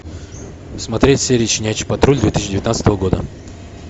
смотреть серии щенячий патруль две тысячи девятнадцатого года